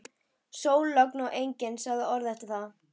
Sól, logn og enginn sagði orð eftir þetta.